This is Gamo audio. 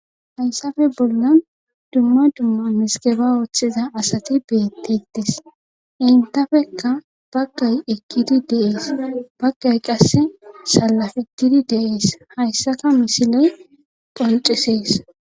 hayssafe bollan dumma dumma misgeba wooththiza asati beettettis intafekka baggay ekkidi deees baggay qasse salafitidi deees hayssaka misiley qoncisees